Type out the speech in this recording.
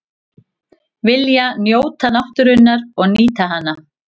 Vilja njóta náttúrunnar og nýta hana